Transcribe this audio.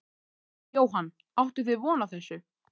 Jóhann: Áttuð þið von á þessu?